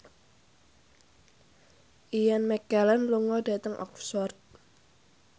Ian McKellen lunga dhateng Oxford